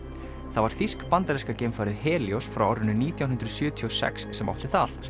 það var þýsk bandaríska geimfarið frá árinu nítján hundruð sjötíu og sex sem átti það